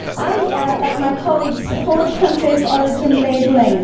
I, like my colleagues, support country of origin labelling.